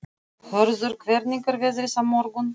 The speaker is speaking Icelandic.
Hörður, hvernig er veðrið á morgun?